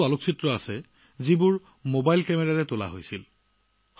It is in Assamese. ইয়াৰে কিছুমান ফটো মোবাইল ফোন কেমেৰাৰ দ্বাৰা তোলা হৈছে